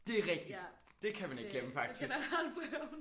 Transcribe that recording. Det er rigtigt! Det kan man ikke glemme faktisk